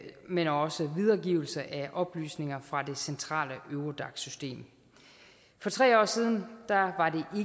men også videregivelse af oplysninger fra det centrale eurodac system for tre år siden var